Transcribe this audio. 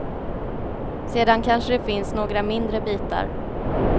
Sedan kanske det finns några mindre bitar.